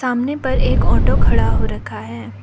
सामने पर एक ऑटो खड़ा हो रखा है।